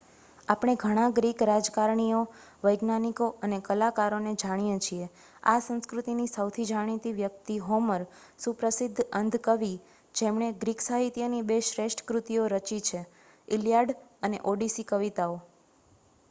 આપણે ઘણા ગ્રીક રાજકારણીઓ વૈજ્ઞાનિકો અને કલાકારોને જાણીએ છીએ. આ સંસ્કૃતિની સૌથી જાણીતી વ્યક્તિ હોમર, સુપ્રસિદ્ધ અંધ કવિ જેમણે ગ્રીક સાહિત્યની બે શ્રેષ્ઠ કૃતિઓ રચિત છે: ઇલિયાડ અને ઓડિસી કવિતાઓ